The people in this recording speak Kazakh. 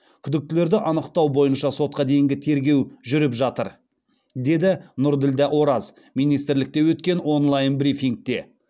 күдіктілерді анықтау бойынша сотқа дейінгі тергеу жүріп жатыр деді нұрділдә ораз министрлікте өткен онлайн брифингте